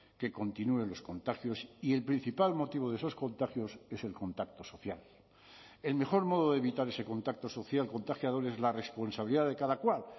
que continúen los contagios y el principal motivo de esos contagios es el contacto social el mejor modo de evitar ese contacto social contagiador es la responsabilidad de cada cual